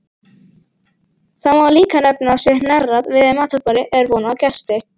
Þá má líka nefna að sé hnerrað við matarborðið er von á gesti.